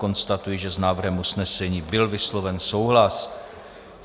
Konstatuji, že s návrhem usnesení byl vysloven souhlas.